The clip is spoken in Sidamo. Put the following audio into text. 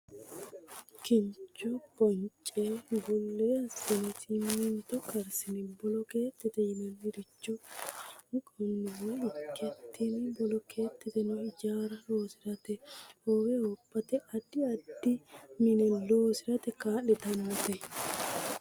Kincho bonce hullee assine simminto karsine bolokeettete yinanniricho kalanqanniwa ikke tini bolokeetteno ijaara loosirate, hoowe hoophate addi addi mine loosirate kaa'litannote.